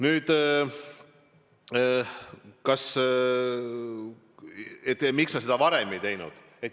Nüüd see, miks me seda varem ei teinud.